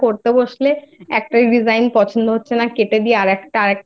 বসলে একটা Design পছন্দ হচ্ছে না কেটে দিয়ে আর